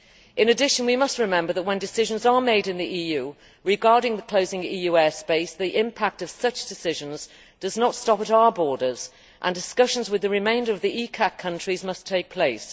In addition, we must remember that when decisions are made in the EU regarding closing EU airspace, the impact of such decisions does not stop at our borders, and discussions with the remainder of the ICAP countries must take place.